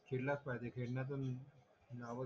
खेडलाच पाहिजे